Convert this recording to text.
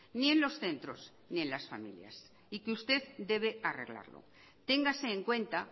ni en los centros ni en las familias y que usted debe arreglarlo téngase en cuenta